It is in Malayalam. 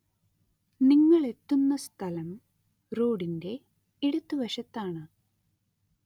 നിങ്ങളെത്തുന്ന സ്ഥലം റോഡിന്റെ ഇടതുവശത്താണ്.